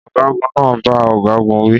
Ọ̀gágun náà bá ọ̀gágun wí